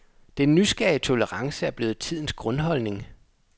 Den nysgerrige tolerance er blevet tidens grundholdning.